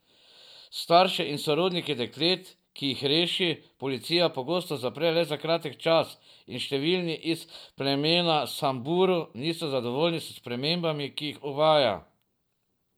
Starše in sorodnike deklet, ki jih reši, policija pogosto zapre le za kratek čas, in številni iz plemena Samburu niso zadovoljni s spremembami, ki jih uvaja.